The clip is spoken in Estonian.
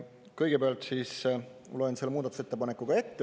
Kõigepealt ma loen selle muudatusettepaneku ette.